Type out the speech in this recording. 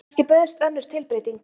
Kannski bauðst önnur tilbreyting.